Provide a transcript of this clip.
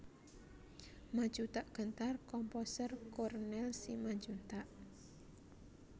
Maju Tak Gentar Komposer Cornel Simanjuntak